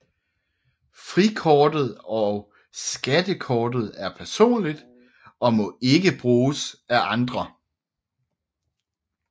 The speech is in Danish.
Frikortet og skattekortet er personligt og må ikke bruges af andre